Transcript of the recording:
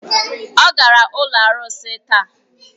Ọ gara ụlọ arụsị taa.